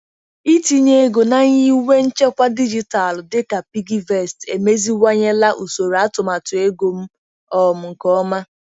Itinye ego na nyiwe nchekwa dijitalụ dịka PiggyVest emeziwanyela usoro atụmatụ ego m um nke ọma.